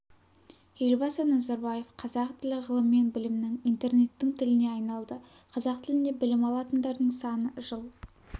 елбасы назарбаев қазақ тілі ғылым мен білімнің интернеттің тіліне айналды қазақ тілінде білім алатындардың саны жыл